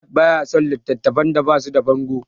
Ahmad baya son littattafan da basu da bango.